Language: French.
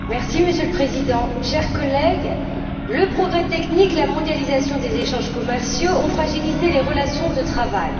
Monsieur le Président, chers collègues, le progrès technique et la mondialisation des échanges commerciaux ont fragilisé les relations de travail.